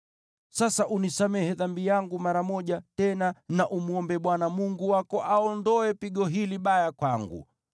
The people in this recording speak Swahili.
Sasa unisamehe dhambi yangu mara moja tena na umwombe Bwana Mungu wako aondoe pigo hili baya kwangu.”